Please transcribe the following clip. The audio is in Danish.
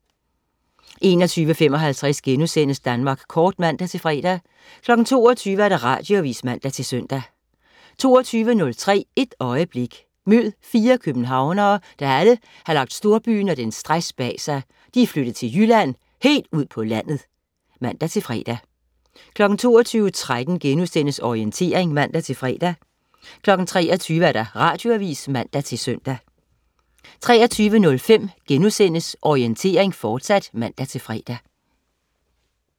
21.55 Danmark Kort* (man-fre) 22.00 Radioavis (man-søn) 22.03 Et øjeblik. Mød fire københavnere, der alle har lagt storbyen og dens stress bag sig. De er flyttet til Jylland, helt ud på landet (man-fre) 22.13 Orientering* (man-fre) 23.00 Radioavis (man-søn) 23.05 Orientering, fortsat* (man-fre)